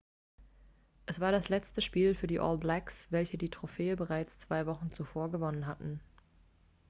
es war das letzte spiel für die all blacks welche die trophäe bereits zwei wochen zuvor gewonnen hatten